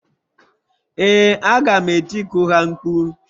Ee, aga m etiku ha mkpu.